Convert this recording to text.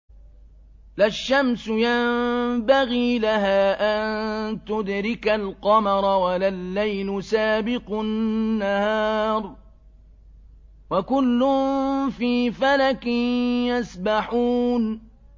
لَا الشَّمْسُ يَنبَغِي لَهَا أَن تُدْرِكَ الْقَمَرَ وَلَا اللَّيْلُ سَابِقُ النَّهَارِ ۚ وَكُلٌّ فِي فَلَكٍ يَسْبَحُونَ